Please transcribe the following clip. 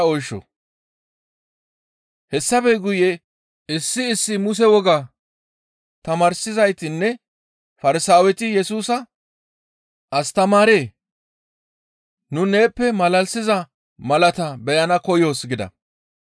Hessafe guye issi issi Muse woga tamaarsizaytinne Farsaaweti Yesusa, «Astamaaree! Nu neeppe malalisiza malaata beyana koyoos» gida.